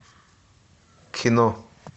кино